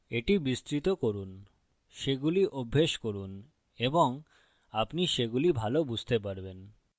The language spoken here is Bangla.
এটি বিস্তৃত করুনসেগুলি অভ্যাস করুনএবং আপনি সেগুলি ভাল বুঝতে পারবেন